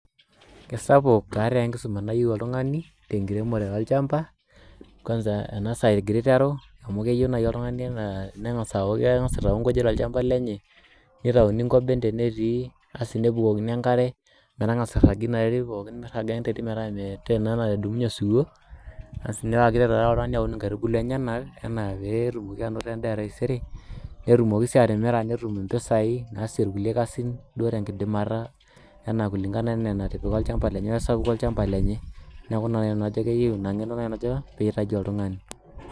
Kesapuk taa enkisuma nayieu oltungani tenkiremore olchamba kwanza tenasaa egirai aiteru keyio nai oltungani nengasa aku keitau nkujit tolchamba lenye nitauni nkoben tenetii nebukokini enkare miragie enterit metaa ore ena nadumunye osiwuo lenyenak ana pe tumoki ainoto endaa etaisere netumoki si atimira netum impisai naasie nkulie kasin enaa kulingana ana anatipika olchamba lenye neaku kajo nai keyieu inangeno.